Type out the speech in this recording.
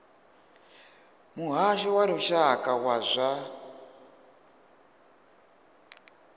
muhasho wa lushaka wa zwa